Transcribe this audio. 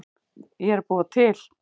Ég er að búa til.